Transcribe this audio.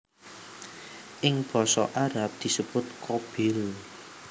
Ing basa Arab disebut Qabil